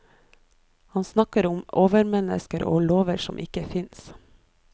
Han snakker om overmennesker og lover som ikke finnes.